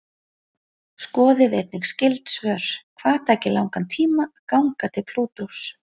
Skoðið einnig skyld svör: Hvað tæki langan tíma að ganga til Plútós?